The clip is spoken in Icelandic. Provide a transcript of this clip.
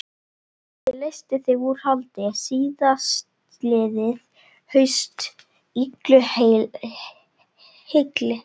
Ég leysti þig úr haldi síðastliðið haust, illu heilli.